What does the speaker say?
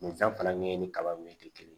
Nin fɛn fana ɲɛɲini ni kaba ɲɛ te kelen ye